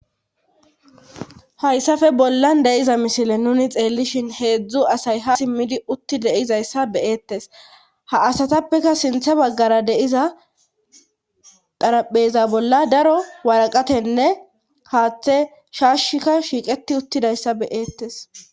Hayssafe bollan deyiza misile nuni xeellishin heedzdzu asay ha simmidi utti deizayssa beyeettes ha asatappeka sinthe baggara deiza qarapeza bolla daro waraqatenne haaththe shaashika shiiqeti uttidayssa beyeettes.